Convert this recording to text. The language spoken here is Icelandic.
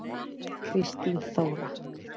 Kristín Þóra.